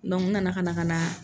n nana ka na ka na